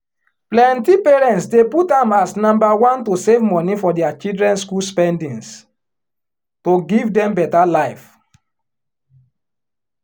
plenty parents dey put am as number one to save money for dia children school spendings to give dem better life